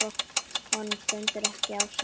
Honum stendur ekki á sama.